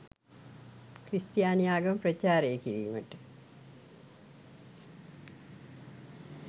ක්‍රිස්තියානි ආගම ප්‍රචාරය කිරීමට